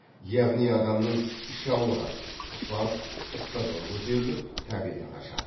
яғни адамның іші ауырады құсады ыстығы көтеріліп тәбеті қашады